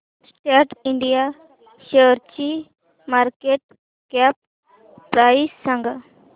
सॅट इंड शेअरची market cap price सांगा